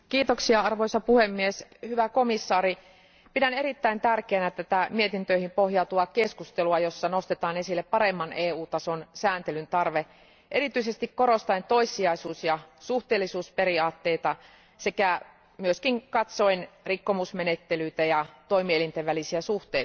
Arvoisa puhemies, hyvä komissaari, pidän erittäin tärkeänä tätä mietintöihin pohjautuvaa keskustelua, jossa nostetaan esille paremman EU tason sääntelyn tarve erityisesti korostaen toissijaisuus ja suhteellisuusperiaatteita sekä myös katsoen rikkomusmenettelyitä ja toimielinten välisiä suhteita.